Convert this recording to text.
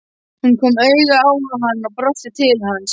Hún kom auga á hann og brosti til hans.